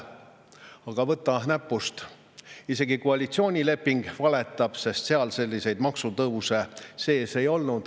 Ja võta näpust, isegi koalitsioonileping valetab, sest seal selliseid maksutõuse sees ei ole.